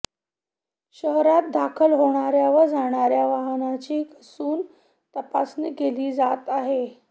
शहरात दाखल होणार्या व जाणार्या वाहनांची कसून तपासणी केली जात आहे